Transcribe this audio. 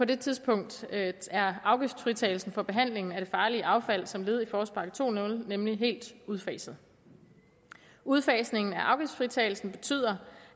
det tidspunkt er afgiftsfritagelsen for behandling af det farlige affald som led i forårspakke 20 nemlig helt udfaset udfasning af afgiftsfritagelsen betyder